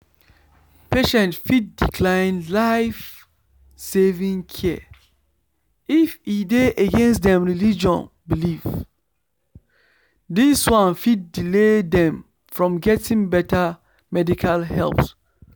patients fit decline life-saving care if e dey against dem religious belief dis one fit delay dem from getting better medical help